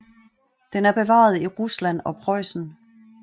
Den er bevaret i Rusland og Preussen